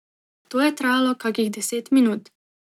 To je trajalo kakih deset minut.